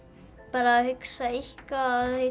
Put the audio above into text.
bara hugsa eitthvað og